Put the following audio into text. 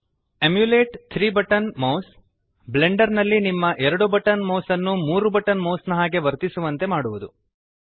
emulate 3 button mouse Blender ನಲ್ಲಿ ನಿಮ್ಮ 2 button mouse ನ್ನು 3 ಬಟನ್ ಮೌಸ್ ನ ಹಾಗೆ ವರ್ತಿಸುವಂತೆ ಮಾಡುವುದು